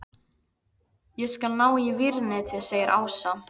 Ég skal ná í vírnetið segir Ása.